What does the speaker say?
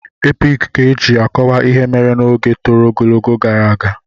Epiki ka eji akọwa ihe mere n'oge tọrọ ogologo gara aga.